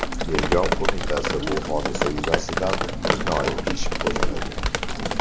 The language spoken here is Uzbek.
Tergov qo‘mitasi bu hodisa yuzasidan jinoiy ish qo‘zg‘agan.